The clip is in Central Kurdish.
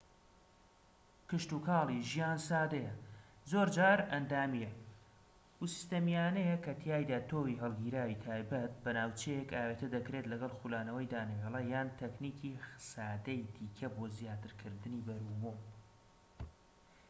کشتوکاڵی ژیان سادەیە زۆرجار ئەندامیە و سیستەمیانەیە کەتیایدا تۆوی هەڵگیراوی تایبەت بە ناوچەیەک ئاوێتە دەکرێت لەگەڵ خولانەوەی دانەوێڵە یان تەکنیکی سادەی دیکە بۆ زیاترکردنی بەرووبوم